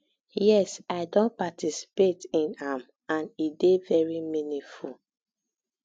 yes i don participate in am and e dey very meaningful